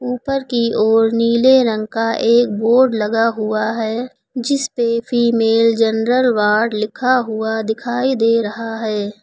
ऊपर की ओर नीले रंग का एक बोर्ड लगा हुआ है जिस पे फीमेल जनरल वार्ड लिखा हुआ दिखाई दे रहा है।